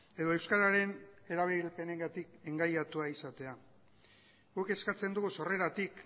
edo euskararen erabilpenengatik engainatua izatea guk eskatzen dugu sorreratik